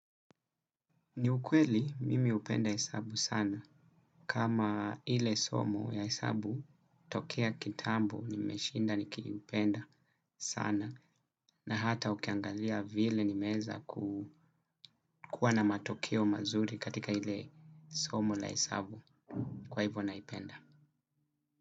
Ni ukweli mimi hupenda hesabu sana kama ile somo ya hesabu tokea kitambo nimeshinda nikiupenda sana na hata ukiangalia vile nimeweza kuwa na matokeo mazuri katika ile somo la hesabu kwa hivyo naipenda.